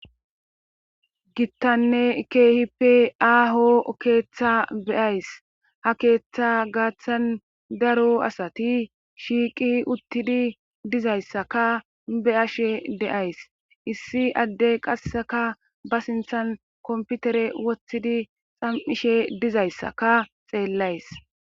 Gittanne keehippe aaho keeththa beyays ha keeththa gaaththan daro asati shiiqi uttidi dizayssaka be'ashe de'ays issi addey qasseka ba sinthan komputere woththidi xam'ishe dizayssaka xeellays.